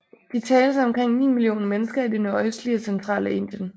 De tales af omkring 9 millioner mennesker i det nordøstlige og centrale Indien